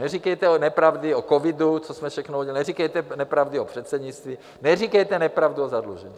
Neříkejte nepravdy o covidu, co jsme všechno udělali, neříkejte nepravdy o předsednictví, neříkejte nepravdu o zadlužení.